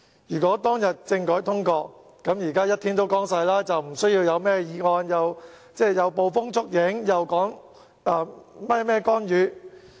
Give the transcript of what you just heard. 如果當日政改方案獲得通過，現在就會雨過天晴，不需要提出議案、捕風捉影或說甚麼干預。